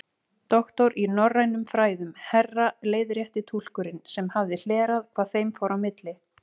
Doktor í norrænum fræðum, herra leiðrétti túlkurinn sem hafði hlerað hvað þeim fór á milli.